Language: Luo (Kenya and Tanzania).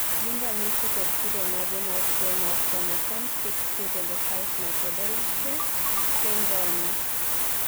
gin ranyisi kod kido mage mag tuwo mar Chromosome 6q25 microdeletion syndrome?